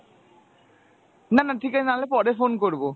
না না ঠিকাছে নাহলে পরে phone করবো।